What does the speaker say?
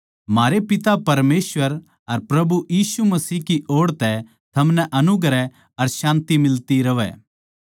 म्हारै पिता परमेसवर अर प्रभु यीशु मसीह की ओड़ तै थमनै अनुग्रह अर शान्ति मिलदी रहवै